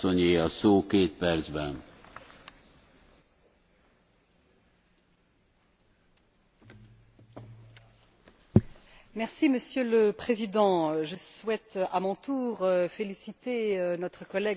Monsieur le Président, je souhaite, à mon tour, féliciter notre collègue Alain Lamassoure pour son excellent rapport d'initiative consacré aux relations entre le Parlement européen et les institutions représentant les gouvernements nationaux.